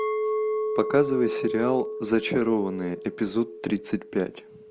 показывай сериал зачарованные эпизод тридцать пять